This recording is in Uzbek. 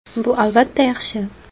Bu, albatta, yaxshi.